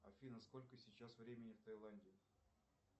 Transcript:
афина сколько сейчас времени в таиланде